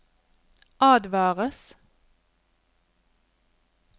advares